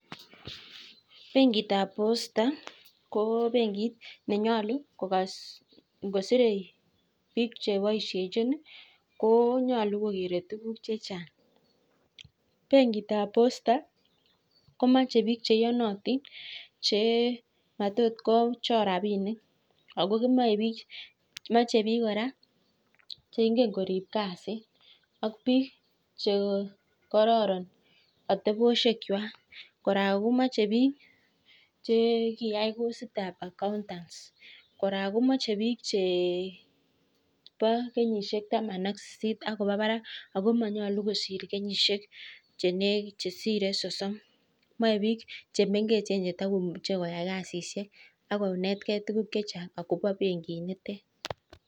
Benkit ab posta ngositei bik chebaishenjin konyaluu kokeree tuguk chechang cheingen korib kasit ak biik chekisomanjin ak biik cheboo kenyishek taman ak sisit ak kwaa barak